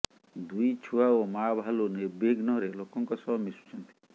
ଦୁଇ ଛୁଆ ଓ ମା ଭାଲୁ ନିର୍ବିଘ୍ନରେ ଲୋକଙ୍କ ସହ ମିଶୁଛନ୍ତି